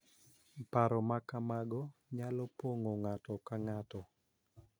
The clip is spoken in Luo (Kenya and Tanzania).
Paro ma kamago nyalo pong�o ng�ato ka ng�ato,